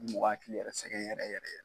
A bɛ mɔgɔ hakili yɛrɛ sɛgɛn yɛrɛ yɛrɛ yɛrɛ.